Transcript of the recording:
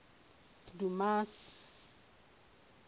dumasi